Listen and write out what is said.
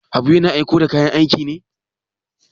Habu yana aiko da kayan aiki ne?